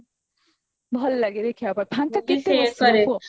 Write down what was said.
ଭଲ ଲାଗେ ଦେଖିବାକୁ ଫାଙ୍କ କେତେ ବସିବ କୁହ